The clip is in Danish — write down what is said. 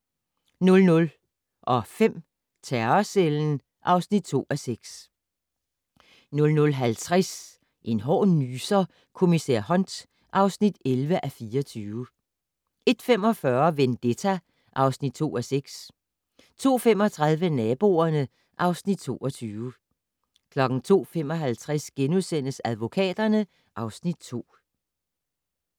00:05: Terrorcellen (2:6) 00:50: En hård nyser: Kommissær Hunt (11:24) 01:45: Vendetta (2:6) 02:35: Naboerne (Afs. 22) 02:55: Advokaterne (Afs. 2)*